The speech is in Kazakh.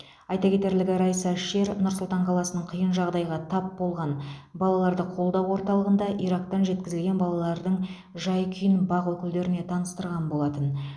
айта кетерлігі райса шер нұр сұлтан қаласының қиын жағдайға тап болған балаларды қолдау орталығында ирактан жеткізілген балалардың жай күйін бақ өкілдеріне таныстырған болатын